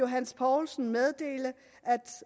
herre johs poulsen meddele